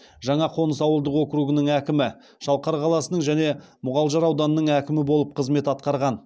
жаңақоныс ауылдық округінің әкімі шалқар қаласының және мұғалжар ауданының әкімі болып қызмет атқарған